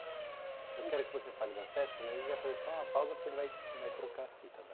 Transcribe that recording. Eu quero que você fale das festas, mas a gente vai fazer só uma pausa porque ele vai vai trocar a fita tá.